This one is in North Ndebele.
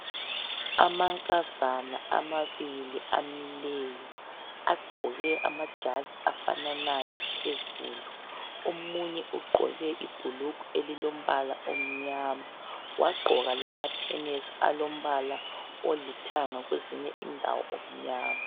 Amankazana amabili amileyo agqoke amajazi afananayo phezulu omunye ugqoke ibhulugwe elilombala omnyama yagqoka lamathenesi alombala olithanga kwezinye indawo okunyama